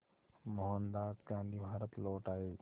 मोहनदास गांधी भारत लौट आए